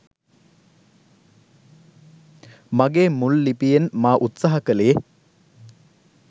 මගේ මුල් ලිපියෙන් මා උත්සාහ කළේ